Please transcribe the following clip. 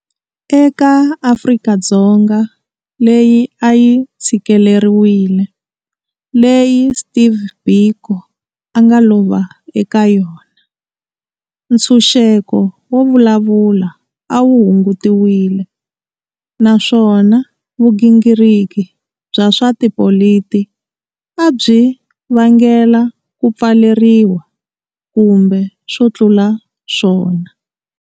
Eka Afrika-Dzonga leyi a yi tshikeleriwile leyi Steve Biko a nga lova eka yona, ntshunxeko wo vulavula a wu hungutiwile naswona vugingiriki bya swa tipoliti a byi vangela ku pfaleriwa kumbe swo tlula swona.